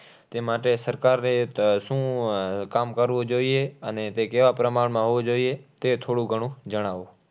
તે માટે સરકારે શું કામ કરવું જોઈએ? અને તે કેવા પ્રમાણમાં હોવું જોઈએ? તે થોડું ઘણું જણાવો.